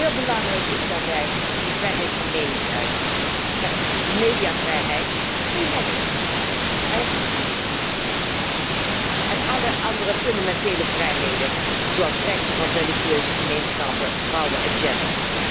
Heel belangrijk is daarbij de vrijheid van meningsuiting, mediavrijheid, en alle andere fundamentele vrijheden zoals rechten van religieuze gemeenschappen, vrouwen en gender.